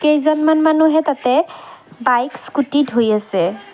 কেইজনমান মানুহে তাতে বাইক স্কুটি ধুই আছে।